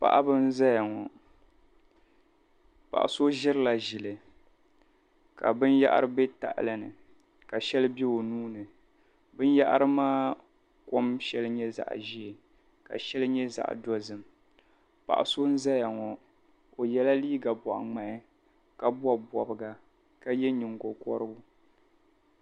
Paɣiba n-zaya ŋɔ. Paɣa so ʒirila ʒili ka binyɛhari be tahili ni ka shɛli be o nuu ni binyɛhari maa kom shɛli nyɛ zaɣ' ʒee ka shɛli nyɛ zaɣ' dozim. Paɣa so n-zaya ŋɔ o yɛla liiga bɔɣiŋmahi ka bɔbi bɔbiga ka ye nyiŋgokɔrigu.